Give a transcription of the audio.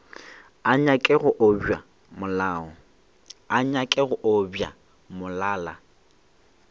a nyake go obja molala